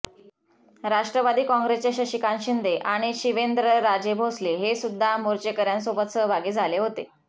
राष्ट्रवादी काँग्रेसचे शशिकांत शिंदे आणि शिवेंद्रराजे भोसले हे सुद्धा मोर्चेकऱ्यांसोबत सहभागी झाले होते